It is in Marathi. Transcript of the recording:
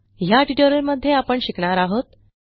ह्या ट्युटोरियलमध्ये आपण शिकणार आहोत